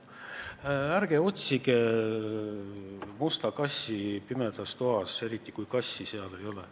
Ärge otsige musta kassi pimedas toas, eriti kui kassi seal ei ole.